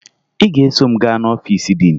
Ị ga-eso m gaa n'ọfiisi diin